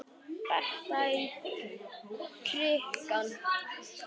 Berta í krikann?